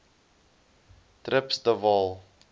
trips de waal